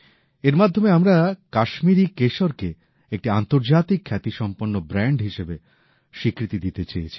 এর মাধ্যমে আমরা কাশ্মীরি কেশরকে একটি আন্তর্জাতিক খ্যাতিসম্পন্ন ব্র্যান্ড হিসেবে স্বীকৃতি দিতে চেয়েছি